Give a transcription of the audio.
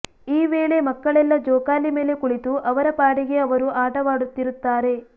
ಈ ವೇಳೆ ಮಕ್ಕಳೆಲ್ಲ ಜೋಕಾಲಿ ಮೇಲೆ ಕುಳಿತು ಅವರ ಪಾಡಿಗೆ ಅವರು ಆಟವಾಡುತ್ತಿರುತ್ತಾರೆ